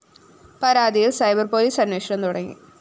പരാതിയില്‍ cyber‍ police അന്വേഷണം തുടങ്ങി